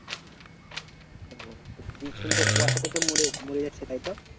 ও তা বিচন তো কুয়াশাতে তো মরে যাচ্ছে তাই তো?